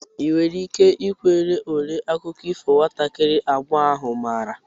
ị nwere ike ikwere ole akụkọ ifo nwatakiri agbọghọ ahụ maara?